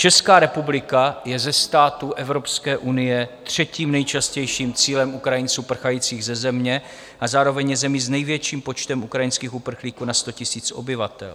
Česká republika je ze států Evropské unie třetím nejčastějším cílem Ukrajinců prchajících ze země a zároveň je zemí s největším počtem ukrajinských uprchlíků na 100 000 obyvatel.